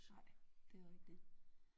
Nej det er rigtigt